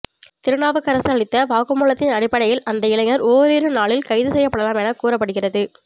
திருநாவுக்கரசு அளித்த வாக்குமூலத்தின் அடிப்படையில் அந்த இளைஞா் ஓரிரு நாளில் கைது செய்யப்படலாம் என்று கூறப்படுகிறது